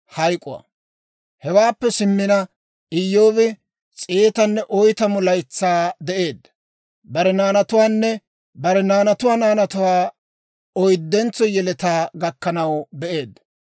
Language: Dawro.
Hewaappe simmina, Iyyoobi s'eetanne oytamu laytsaa de'eedda; bare naanatuwaanne bare naanatuwaa naanatuwaa oyddentso yeletaa gakkanaw be'eedda.